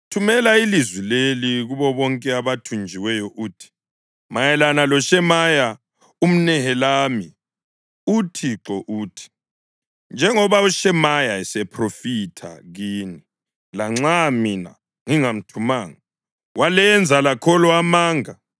“Thumela ilizwi leli kubo bonke abathunjiweyo uthi, Mayelana loShemaya umNehelami uThixo uthi: ‘Njengoba uShemaya esephrofitha kini, lanxa mina ngingamthumanga, walenza lakholwa amanga,